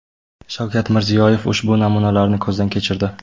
Shavkat Mirziyoyev ushbu namunalarni ko‘zdan kechirdi.